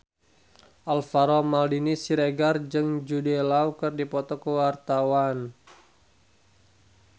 Alvaro Maldini Siregar jeung Jude Law keur dipoto ku wartawan